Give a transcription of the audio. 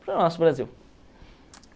Para o nosso Brasil.